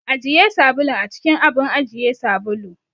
Ajiye sabulun a cikin abun ajiye sabulu.